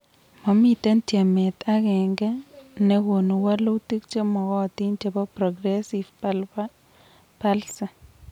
Momitei tyemet agenge nekonu wolutik chemogotin chebo progressive bulbar palsy